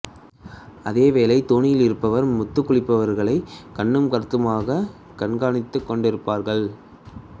அதேவேளை தோணியில் இருப்பவர் முத்துக் குளிப்பவர்களைக் கண்ணும் கருத்துமாகக் கண்காணித்துக் கொண்டிருப்பார்கள்